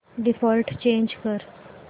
default change कर